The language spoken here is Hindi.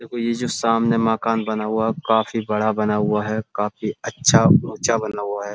देखो ये जो सामने मकान बना हुआ है। वह काफी बड़ा बना हुआ है काफी बड़ा अच्छा उचा बना हुआ है।